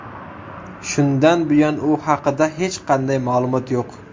Shundan buyon u haqida hech qanday ma’lumot yo‘q.